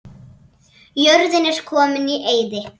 Jörðin er komin í eyði.